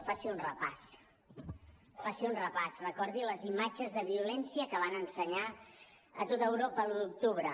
faci un repàs faci un repàs recordi les imatges de violència que van ensenyar a tot europa l’un d’octubre